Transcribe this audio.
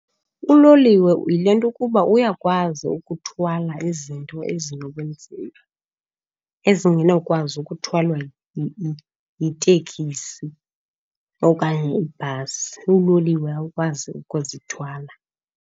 Uloliwe yile nto ukuba uyakwazi ukuthwala izinto ezinobunzima, ezinganokwazi ukuthwala yitekisi okanye ibhasi, uloliwe awukwazi ukuzithwala.